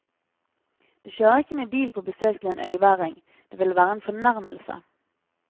Du kjører ikke med bil på besøk til en øyværing, det ville være en fornærmelse.